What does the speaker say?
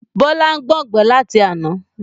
Bọlá ń gbọn gbẹ láti àná